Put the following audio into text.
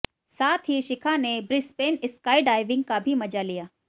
साथ ही शिखा ने ब्रिसबेन स्काईडाइविंग का भी मजा लिया